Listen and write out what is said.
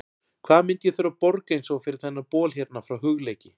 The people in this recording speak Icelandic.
Hvað myndi ég þurfa að borga eins og fyrir þennan bol hérna frá Hugleiki?